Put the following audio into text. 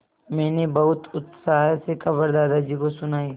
मैंने बहुत उत्साह से खबर दादाजी को सुनाई